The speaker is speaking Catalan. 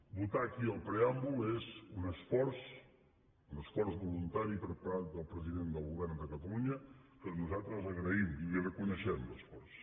votar aquí el preàmbul és un esforç un esforç voluntari per part del president del govern de catalunya que nosaltres agraïm i li reconeixem l’esforç